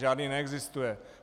Žádný neexistuje.